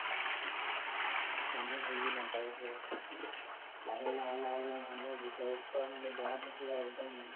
মানুহে বুজি নাপাই so লাহে লাহে লাহে মানুহৰ ভিতৰত দেহাতো পুৰা একদম